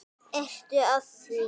Ertu að því?